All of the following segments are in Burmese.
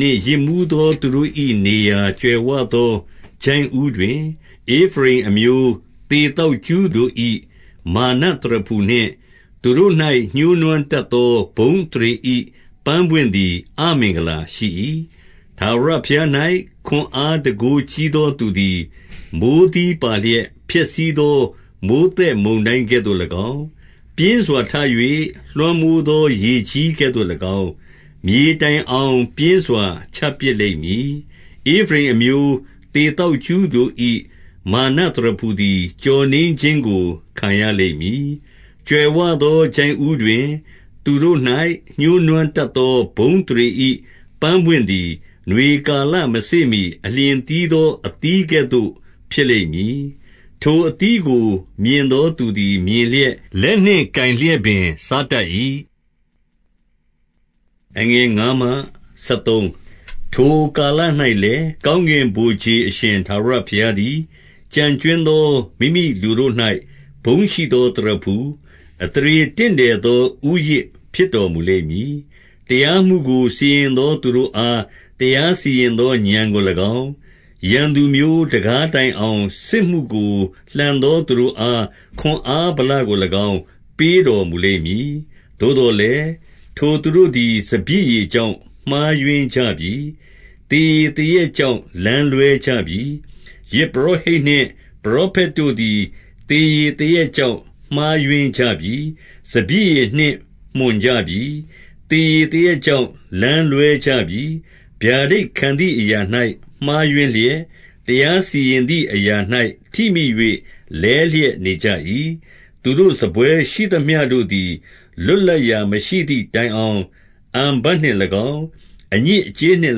နှင့် ယစ်မူးသောသူတို့၏ နေရာကြွယ် ဝသော ချိုင့်ဦးတွင်၊ ဧဖရိမ်အမျိုး သေသောက်ကြူးတို့၏ မာနသရဖူနှင့်၊သူတို့၌ ညှိုးနွမ်းတတ်သော ဘုန်းအသရေ ၏ ပန်းပွင့်သည် အမင်္ဂလာရှိ၏။ 2 ထာဝရဘုရား၌ ခွန်အားတန်ခိုးကြီးသောသူ သည်၊ မိုဃ်းသီးပါလျက် ဖျက်ဆီးသော မိုဃ်းသက်မုန် တိုင်းကဲ့သို့၎င်း၊ ပြင်းစွာထ၍ လွှမ်းမိုးသော ရေကြီးကဲ့သို့ ၎င်း၊ မြေတိုင်အောင် ပြင်းစွာချပစ်လိမ့်မည်။ 3 ဧဖရိမ်အမျိုး သေသောက်ကြူးတို့၏ မာနသရဖူ သည်၊ ကျော်နင်းခြင်းကိုခံရလိမ့်မည်။ 4 ကြွယ်ဝသော ချိုင့်ဦးတွင်၊ သူတို့၌ ညှိုးနွမ်းတတ် သော ဘုန်းအသရေ၏ ပန်းပွင့်သည်၊ နွေကာလ မစေ့မှီ အလျင် သီးသောအသီးကဲ့သို့ ဖြစ်လိမ့်မည်။ ထိုအသီးကို မြင်သောသူသည် မြင်လျက်၊ လက်နှင့် ကိုင်လျက်ပင်စား တတ်၏။ 5 ထိုကာလ၌လည်း၊ ကောင်းကင်ဗိုလ်ခြေအရှင် ထာဝရဘုရားသည်၊ကျန်ကြွင်းသော မိမိလူတို့၌ ဘုန်းရှိ သောသရဖူ၊ အသရေတင့်တယ်သော ဦးရစ်ဖြစ်တော်မူ လိမ့်မည်။ 6 တရားမှုကို စီရင်သောသူတို့အား တရားစီရင် သော ဥာဏ်ကို၎င်း၊ ရန်သူမျိုး တံခါးတိုင်အောင် စစ်မှု ကို လှန်သောသူတို့အား၊ ခွန်အားဗလကို၎င်း ပေးတော်မူ လိမ့်မည်။ 7 သို့သော်လည်း၊ ထိုသူတို့သည် စပျစ်ရည် ကြောင့် မှားယွင်းကြပြီ။ သေရည်သေရက်ကြောင့် လမ်းလွဲကြပြီ။ ယဇ်ပုရောဟိတ်နှင့် ပရောဖက်တို့သည် သေရည်သေရက် ကြောင့် မှားယွင်းကြပြီ။ စပျစ်ရည်နှင့် မွှန်ကြပြီ။ သေရည် သေရက်ကြောင့် လမ်းလွဲကြပြီ။ ဗျာဒိတ်ခံသည် အရာ၌ မှားယွင်းလျက်၊ တရားစီရင်သည်အရာ၌ ထိမိ၍ လဲ လျက်နေကြ၏။ 8 သူတို့စားပွဲရှိသမျှတို့သည်၊ လွတ်လပ်ရာမရှိ သည်တိုင်အောင်၊ အန်ဖတ်နှင့်၎င်း၊ အညစ်အကြေးနှင့်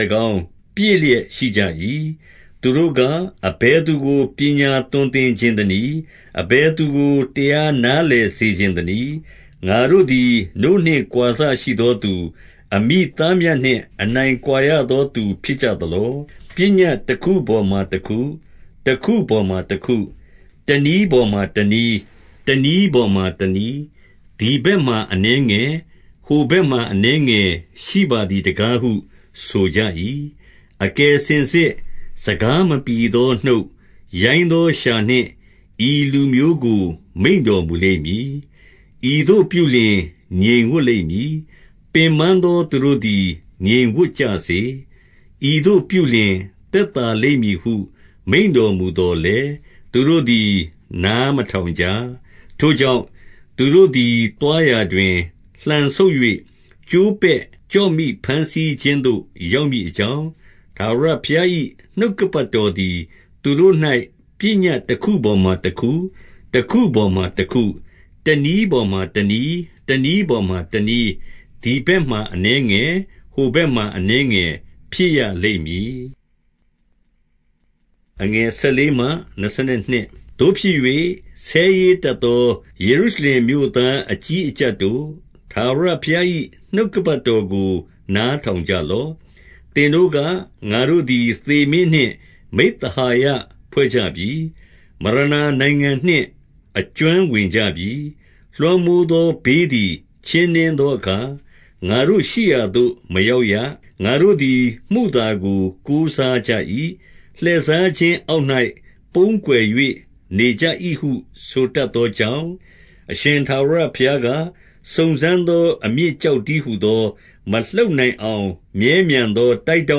၎င်း ပြည့်လျက်ရှိကြ၏။ 9 သူတို့က၊ အဘယ်သူကို ပညာသွန်သင်ချင်သ နည်း။ အဘယ်သူကို တရားနားလည်စေချင်သနည်း။ ငါ တို့သည် နို့နှင့် ကွာစရှိသောသူ၊ အမိသားမြတ်နှင့် အနိုင် ကွာရသောသူဖြစ်ကြသလော။ 10 ပညတ်တခုပေါ်မှာ တခု၊ တခုပေါ်မှာ တခု၊ တနည်းပေါ်မှာ တနည်း၊ တနည်းပေါ်မှာ တနည်း၊ သည် ဘက်မှာ အနည်းငယ်၊ဟိုဘက်မှာ အနည်းငယ်ရှိပါသည် တကားဟု ဆိုကြ၏။ 11 အကယ်စင်စစ်၊ စကားမပြီသော နှုတ်၊ ရိုင်း သောလျှာနှင့် ဤလူမျိုးကို မိန့်တော်မူလိမ့်မည်။ 12 ဤသို့ပြုလျှင် ငြိမ်ဝပ်လိမ့်မည်။ ပင်ပန်းသောသူ တို့သည် ငြိမ်ဝပ်ကြစေ။ ဤသို့ပြုလျှင် သက်သာလိမ့်မည် ဟု မိန့်တော်မူသော်လည်း၊ သူတို့သည်နားမထောင်ကြ။ 13 ထို့ကြောင့်၊သူတို့သည် သွားရာတွင်၊ လှန်ဆုတ်၍ ကျိုးပဲ့ကျော့မိ ဘမ်းဆီးခြင်းသို့ ရောက်မည်အကြောင်း၊ ထာဝရဘုရား၏ နှုတ်ကပတ်တော်သည် သူတို့၌ ပညတ် တခုပေါ်မှာတခု၊ တခုပေါ်မှာတခု၊တနည်းပေါ်မှာ တနည်း၊ တနည်းပေါ်မှာ တနည်း၊ သည်ဘက်မှာ အနည်း ငယ်၊ ဟိုဘက်မှာ အနည်းငယ် ဖြစ်ရလိမ့်မည်။ 14 သို့ဖြစ်၍၊ ဆဲရေးတတ်သော ယေရုရှလင်မြို့ သားအကြီးအကြပ်တို့၊ ထာဝရဘုရား၏ နှုတ်ကပတ်တော် ကို နားထောင်ကြလော့။ 15 သင်တို့က၊ ငါတို့သည် သေမင်းနှင့် မိဿဟာယ ဖွဲ့ကြပြီ။ မရဏာနိုင်ငံနှင့် အကျွမ်းဝင်ကြပြီ။ လွှမ်းမိုးသော ဘေးသည် ချင်းနင်းသောအခါ၊ ငါတို့ရှိရာသို့ မရောက်ရ။ ငါတို့သည် မုသာကိုကိုးစားကြ၏။ လှည့်စားခြင်းအောက် ၌ ပုန်းကွယ်၍ နေကြ၏ဟုဆိုတတ်သောကြောင့်၊ 16 အရှင်ထာဝရဘုရားက၊ စုံစမ်းသော အမြစ် ကျောက်တည်းဟူသော၊ မလှုပ်နိုင်အောင် မြဲမြံသော တိုက်ထော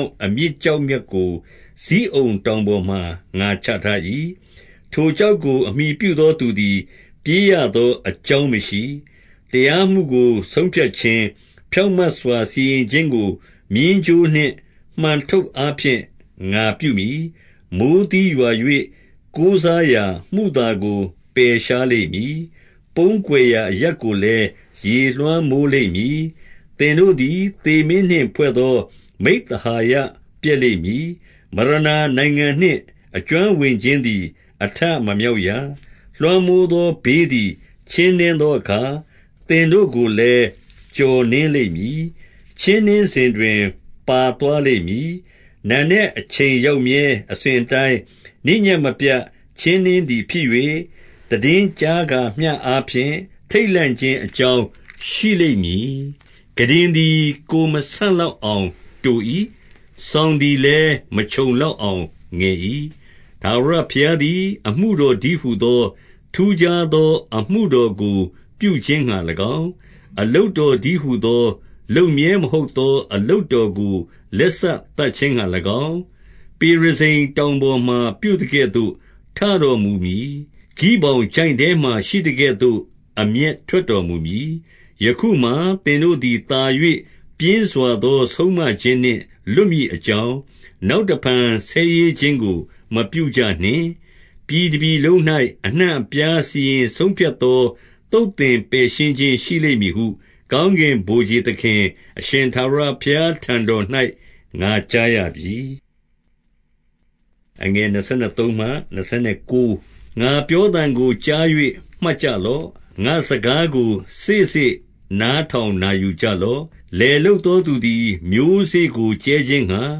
င့်အမြစ်ကျောက်မြတ်ကို ဇိအုန်တောင်ပေါ်မှာ ငါချထား၏။ ထိုကျောက်ကို အမှီပြုသောသူသည် ပြေးရ သောအကြောင်းမရှိ။ 17 တရားမှုကို ဆုံးဖြတ်ခြင်း၊ ဖြောင့်မတ်စွာ စီရင် ခြင်းကို မျဉ်းကြိုးနှင့် မှန်ထုပ်အားဖြင့် ငါပြုမည်။ မိုဃ်း သီးရွာ၍ ကိုးစားရာ မုသာကို ပယ်ရှားလိမ့်မည်။ ပုန်းကွယ် ရာအရပ်ကိုလည်း ရေလွှမ်းမိုးလိမ့်မည်။ 18 သင်တို့သည် သေမင်းနှင့်ဖွဲ့သော မိဿဟာယ ပျက်လိမ့်မည်။ မရဏာနိုင်ငံနှင့် အကျွမ်းဝင်ခြင်းသည် အထမမြောက်ရ။ လွှမ်းမိုးသောဘေးသည် ချင်းနင်းသော အခါ၊ သင်တို့ကိုလည်း ကျော်နင်းလိမ့်မည်။ 19 ချင်းနင်းစဉ်တွင် ပါသွားလိမ့်မည်။ နံနက်အချိန် ရောက်မြဲ အစဉ်အတိုင်း၊ နေ့ညဉ့်မပြတ် ချင်းနင်းသည် ဖြစ်၍၊ သိတင်းကြားကာမျှအားဖြင့် ထိတ်လန့်ခြင်းအ ကြောင်းရှိလိမ့်မည်။ 20 ခုတင်သည် ကိုယ်မဆန့်လောက်အောင်တို၏။ စောင်သည်လည်း ခြုံလောက်အောင်ငယ်၏။ 21 ထာဝရဘုရားသည် အမှုတော်တည်းဟူသော၊ ထူးခြားသော အမှုတော်ကို ပြုခြင်းငှါ၎င်း၊ အလုပ်တော် တည်းဟူသော၊ လုပ်မြဲမဟုတ်သော အလုပ်တော်ကို လက် စသတ်ခြင်းငှါ၎င်း၊ ပေရဇိမ်တောင်ပေါ်မှာ ပြုသကဲ့သို့ ထ တော်မူမည်။ ဂိဗောင်ချိုင့်ထဲမှာ ရှိသကဲ့သို့ အမျက်ထွက် တော်မူမည်။ 22 ယခုမှာ သင်တို့သည် သာ၍ပြင်းစွာသော ဆုံးမ ခြင်းနှင့် လွတ်မည်အကြောင်း၊ နောက်တဖန် ဆဲရေးခြင်း ကို မပြုကြနှင့်။ ပြည်တပြည်လုံး၌ အနှံ့အပြားစီရင်ဆုံး ဖြတ်သော သုတ်သင်ပယ်ရှင်းခြင်း ရှိလိမ့်မည်ဟု ကောင်း ကင်ဗိုလ်ခြေသခင် အရှင်ထာဝရဘုရားထံတော်၌ ငါ ကြားရပြီ။ 23 ငါပြောသံကိုကြား၍ မှတ်ကြလော့။ ငါ့စကားကို စေ့စေ့နားထောင်နာယူကြလော့။ 24 လယ်လုပ်သောသူသည် မျိုးစေ့ကို ကြဲခြင်းငှါ၊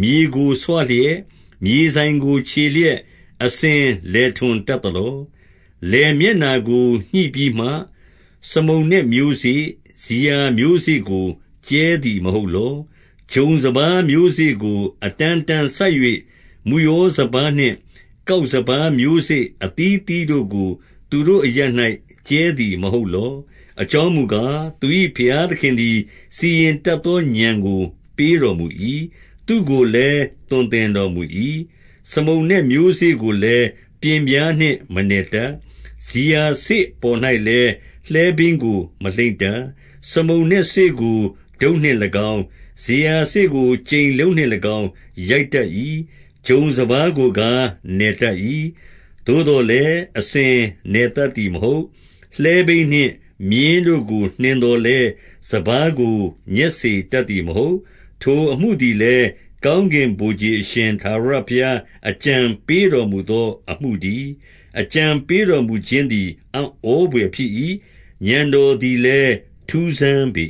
မြေကိုဆွလျက်၊ မြေစိုင်ကို ချေလျက်အစဉ် လယ်ထွန် တတ်သလော။ 25 လယ်မျက်နှာကို ညှိပြီးမှ စမုန်နက်မျိုးစေ့၊ဇီယာ မျိုးစေ့ကို ကြဲသည်မဟုတ်လော။ ဂျုံစပါးမျိုးစေ့ကို အ တန်းတန်းစိုက်၍၊ မုယောစပါးနှင့် ကောက်စပါးမျိုးစေ့ အသီးအသီးတို့ကို သူတို့အရပ်၌ ကြဲသည်မဟုတ်လော။ 26 အကြောင်းမူကား၊ သူ၏ဘုရားသခင်သည် စီ ရင်တတ်သော ဥာဏ်ကို ပေးတော်မူ၏။ သူ့ကိုလည်း သွန် သင်တော်မူ၏။ 27 စမုန်နက် မျိုးစေ့ကိုလည်း ပျဉ်ပြားနှင့် မနယ် တတ်။ ဇီယာစေ့ပေါ်၌လည်း လှည်းဘီးကို မလှိမ့်တတ်။ စမုန်နက်စေ့ကို တုတ်နှင့်၎င်း၊ ဇီယာစေ့ကို ကြိမ်လုံးနှင့် ၎င်း ရိုက်တတ်၏။ 28 ဂျုံစပါးကိုကား နယ်တတ်၏။ သို့သော်လည်း၊ အ စဉ်နယ်တတ်သည်မဟုတ်။ လှည်းဘီးနှင့် မြင်းတို့ကို နှင် သော်လည်း၊ စပါးကို ညက်စေတတ်သည်မဟုတ်။ 29 ထိုအမှုသည်လည်း၊ ကောင်းကင်ဗိုလ်ခြေအရှင် ထာဝရဘုရား အကြံပေးတော်မူသောအမှုတည်း။ အကြံ ပေးတော်မူခြင်းသည် အံ့ဩဘွယ်ဖြစ်၏။ ဥာဏ်တော် သည်လည်း ထူးဆန်းပေ